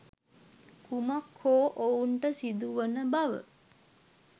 කුමක් හෝ ඔවුන්ට සිදුවන බව